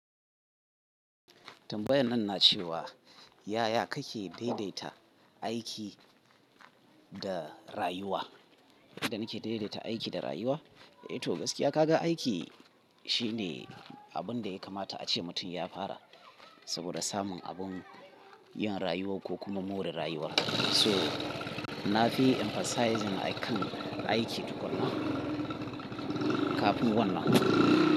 Tambayan nan na ce wa yaya kake daidaita aiki da rayuwa? Yadda na ke daidaita aiki da rayuwa? Eh to gaskiya ka ga aiki shine abun da ya kamata ace mutum ya fara saboda samun abun yin rayuwa ko kuma more rayuwa. So na fi emphasizing akan aiki tukun na kafin wannan.